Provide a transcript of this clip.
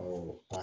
Awɔ